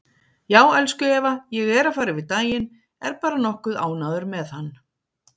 Já, elsku Eva, ég er að fara yfir daginn, er bara nokkuð ánægður með hann.